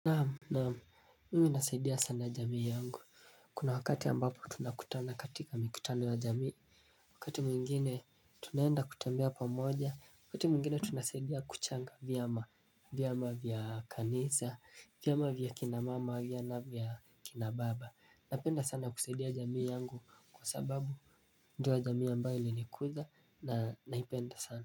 Naam mimi nasaidia sana jamii yangu. Kuna wakati ambapo tunakutana katika mikutano ya jamii. Wakati mwingine tunaenda kutembea pammoja wakati mwingine tunasaidia kuchanga vyama vyama vya kanisa vyama vya kina mama vyakina baba napenda sana kusaidia jamii yangu kwa sababu ndio jamii ambayo ilinikuza na naipenda sana.